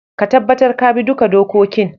Ka tabatar ka bi duka dokokin